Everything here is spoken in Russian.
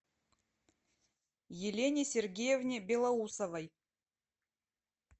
елене сергеевне белоусовой